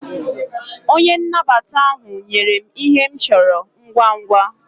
Onye nnabata ahu nyere m Ihe m choro ngwa ngwa